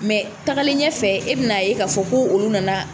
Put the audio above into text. tagali ɲɛ fɛ e be na ye ka fɔ ko olu nana